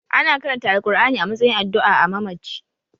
Ana karanta Alkur'ani a matsayin addu'a a mamaci